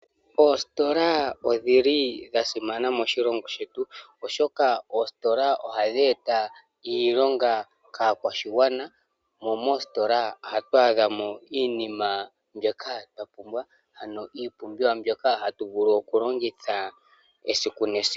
Oositola odhili dha simana moshilongo shetu, oshoka oositola ohadhi eta iilonga kaakwashigwana. Mo moositola ohatu adhamo iinima mbyoka twa pumbwa ano iipumbiwa mbyoka hatu vulu oku longitha esiku nesiku.